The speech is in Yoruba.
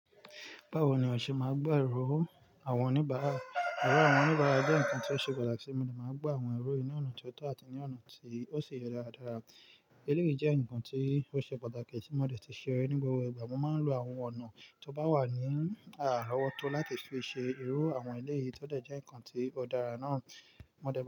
Báwo ni o ṣe máa ń gbá ẹrú àwọn oníbàárà? Ẹrú àwọn oníbàárà jẹ́ nǹkan tí ó ṣe pàtàkì, èmi ni màá ń gbá àwọn ẹrú yìí ní ọ̀nà tó tọ́ àti ní ọ̀nà tí ó ṣe é dáradára. Éle yìí jẹ́ ǹkan tí ó ṣe pàtàkì tí mo dẹ̀ tí ṣe é ní gbogbo ìgbà, mo máa ń lo àwọn ọ̀nà tó bá wà ní àárọ̀ ọ́tọ́ láti fi ṣe ẹrú àwọn ilé yìí, tó dẹ̀ jẹ́ ǹkan tí ó dára náà. Mo dára.